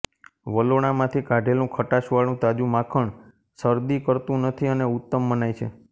વલોણામાંથી કાઢેલું ખટાશવાળું તાજું માખણ શરદી કરતું નથી અને ઉત્તમ મનાય છે